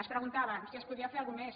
es preguntaven si es podia fer alguna cosa més